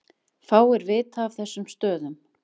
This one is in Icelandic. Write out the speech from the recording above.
Fáir vita af þessum stöðum